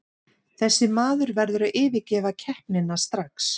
Þessi maður verður að yfirgefa keppnina strax.